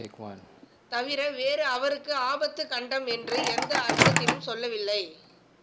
தவிர வேறு அவருக்கு ஆபத்து கண்டம் என்று எந்த அர்த்தத்திலும் சொல்லவில்லை